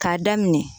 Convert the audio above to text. K'a daminɛ